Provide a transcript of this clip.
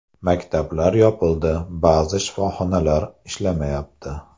Maktablar yopildi, ba’zi shifoxonalar ishlamayapti.